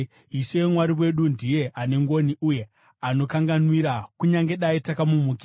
Ishe Mwari wedu ndiye ane ngoni uye anokanganwira, kunyange dai takamumukira.